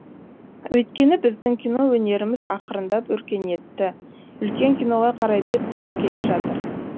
өйткені біздің кино өнеріміз ақырындап өркениетті үлкен киноға қарай бет бұрып келе жатыр